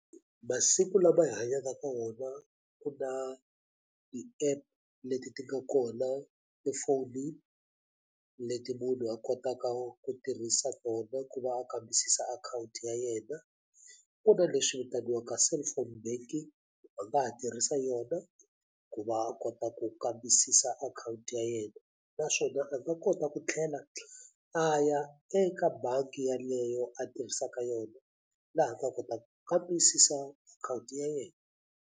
Masiku lama hi hanyaka ka wona ku na ti-app leti ti nga kona efonini leti munhu a kotaka ku tirhisa tona ku va a kambisisa akhawunti ya yena ku na leswi vitaniwaka cellphone banking a nga ha tirhisa yona ku va a kota ku kambisisa akhawunti ya yena naswona a nga kota ku tlhela a ya eka bangi yeleyo a tirhisaka yona laha a nga kota ku kambisisa akhawunti ya yena.